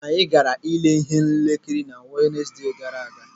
Anyị gaara ile ihe nkiri na Wenesde gara aga.